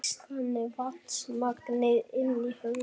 Eykst þannig vatnsmagnið inni í höfðinu.